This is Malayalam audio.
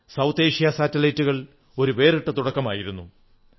ദക്ഷിണേഷ്യാ ഉപഗ്രഹങ്ങൾ ഒരു വേറിട്ട തുടക്കമായിരുന്നു